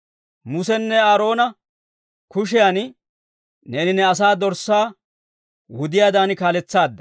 Musenne Aaroona kushiyan neeni ne asaa dorssaa wudiyaadan kaaletsaadda.